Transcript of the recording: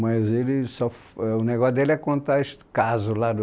Mas ele só f... Mas o negócio dele é contar his casos lá do...